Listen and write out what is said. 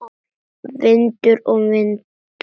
Vindur og vindrof